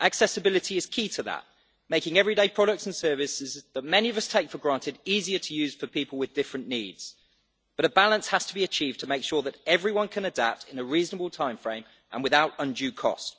Accessibility is key to that making everyday products and services that many of us take for granted easier to use for people with different needs, but a balance has to be achieved to make sure that everyone can adapt in a reasonable timeframe and without undue cost.